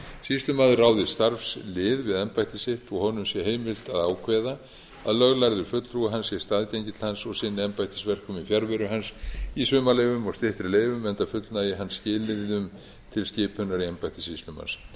sýslumaður ráði starfslið við embætti sitt og honum sé heimilt að ákveða að löglærður fulltrúi hans sé staðgengill hans og sinni embættisverkum í fjarveru hans í sumarleyfum og styttri leyfum enda fullnægi hann skilyrðum til skipunar í embætti sýslumanns